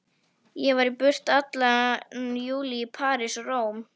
Ég var í burtu allan júlí, í París og Róm.